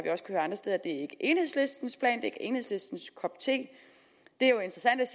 enhedslistens plan er enhedslistens kop te det er jo interessant